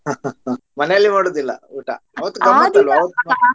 ಮನೆಯಲ್ಲಿ ಮಾಡುವುದಿಲ್ಲ ಊಟ ಅವತ್ತು ಗಮ್ಮತ್ತು ಅಲ್ವಾ?